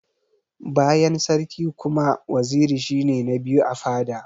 Bayan sarki kuma, waziri shi ne na biyu a fada.